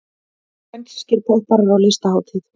Spænskir popparar á listahátíð